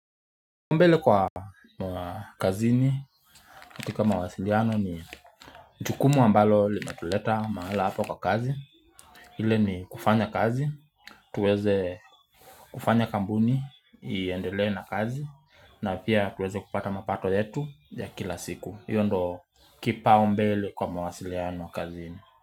Mbele kwa kazini, kitu mawasiliano ni jukumu ambalo limatuleta mahali hapa kwa kazi ile ni kufanya kazi, tuweze kufanya kampuni, iendele na kazi na pia tuweze kupata mapato yetu ya kila siku Iyo ndio kipaombele kwa mawasiliano kazini.